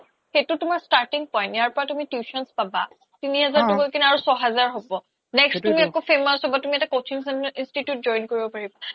সেইতো তুমাৰ starting point ইয়াৰ পৰা তুমি tuitions পাবা তিনি হেজাৰ তো গৈ কিনে ছয় হেজাৰ হ্'ব next তুমি আকৌ famous হ্'বা তুমি এটা coaching institute join কৰিব পাৰিবা